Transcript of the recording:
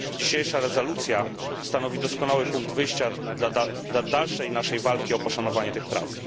Dzisiejsza rezolucja stanowi doskonały punkt wyjścia dla dalszej naszej walki o poszanowanie tych praw.